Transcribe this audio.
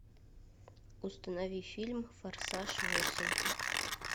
установи фильм форсаж восемь